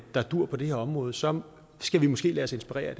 der duer på det her område så skal vi måske lade os inspirere